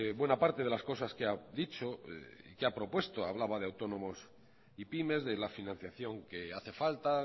buena parte de las cosas que ha dicho y que a propuesto hablaba de autónomos y pymes de la financiación que hace falta